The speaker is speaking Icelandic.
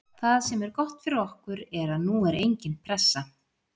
Það sem er gott fyrir okkur er að nú er engin pressa.